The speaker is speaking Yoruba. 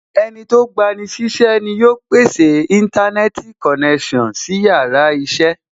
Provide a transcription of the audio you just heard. Ẹnití ó gba ni sí iṣẹ́ ni yóò pèsè Íńtánẹ́ẹ̀tì konẹ́sàn sí yàrá iṣẹ́